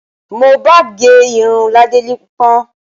Mohbad gẹ irun ládérípọ́n